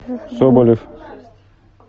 соболев